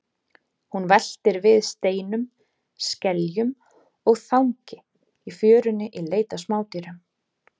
Hún veltir við steinum, skeljum og þangi í fjörunni í leit að smádýrum.